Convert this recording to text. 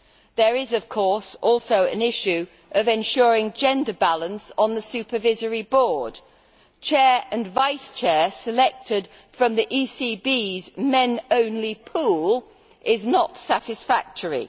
There is, of course, also an issue of ensuring gender balance on the supervisory board. Having the Chair and Vice Chair selected from the ECB's men only pool is not satisfactory.